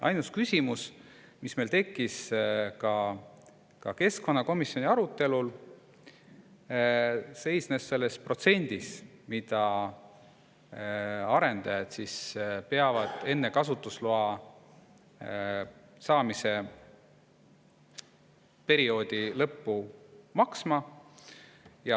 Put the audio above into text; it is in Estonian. Ainus küsimus, mis meil tekkis ka keskkonnakomisjoni arutelul, seisnes selles protsendis, mille eest arendajad peavad enne kasutusloa saamise perioodi lõppu hakkama maksma.